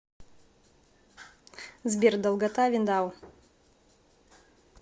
сбер долгота виндау